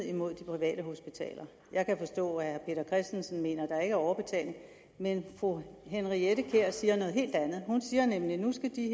imod de private hospitaler jeg kan forstå at herre peter christensen mener at der ikke er overbetaling men fru henriette kjær siger noget helt andet hun siger nemlig at nu skal de